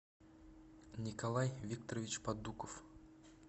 николай викторович подуков